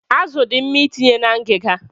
Azụ dị mma itinye na ngiga.